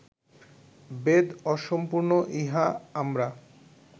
বেদ অসম্পূর্ণ ইহা আমরা